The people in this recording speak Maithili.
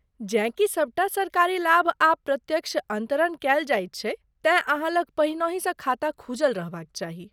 जेँ की सबटा सरकारी लाभ आब प्रत्यक्ष अन्तरण कएल जाइत छै तेँ अहाँ लग पहिनहिसँ खाता खुजल रहबाक चाही।